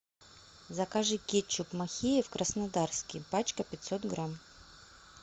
закажи кетчуп махеев краснодарский пачка пятьсот грамм